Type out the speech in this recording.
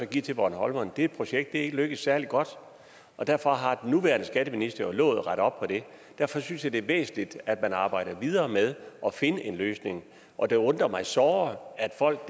give til bornholmerne det projekt er ikke lykkedes særlig godt og derfor har den nuværende skatteminister lovet at rette op på det derfor synes jeg det er væsentligt at man arbejder videre med at finde en løsning og det undrer mig såre at folk